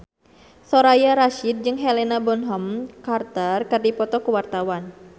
Soraya Rasyid jeung Helena Bonham Carter keur dipoto ku wartawan